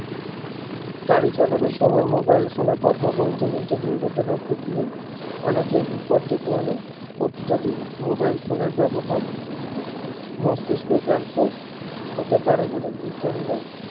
গাড়ি চালানোর সময় mobile phone এ কথা বলতে বলতে দুর্ঘটনা ঘটিয়ে অনেকেই বিপদ ডেকে আনে অত্যাধিক mobile phone এর ব্যবহার মস্তিস্ক cancer হতে পারে বলে বিজ্ঞানী রা